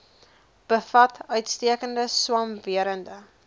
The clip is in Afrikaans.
bevat uitstekende swamwerende